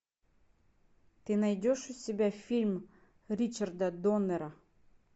ты найдешь у себя фильм ричарда доннера